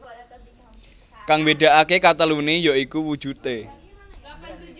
Kang mbédakaké kateluné ya iku wujudé